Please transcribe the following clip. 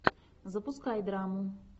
запускай драму